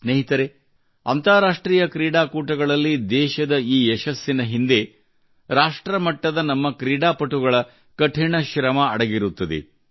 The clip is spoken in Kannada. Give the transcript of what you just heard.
ಸ್ನೇಹಿತರೇ ಅಂತರಾಷ್ಟ್ರೀಯ ಕ್ರೀಡಾಕೂಟಗಳಲ್ಲಿ ದೇಶದ ಈ ಯಶಸ್ಸಿನ ಹಿಂದೆ ರಾಷ್ಟ್ರ ಮಟ್ಟದ ನಮ್ಮ ಕ್ರೀಡಾಪಟುಗಳ ಕಠಿಣ ಶ್ರಮ ಅಡಗಿರುತ್ತದೆ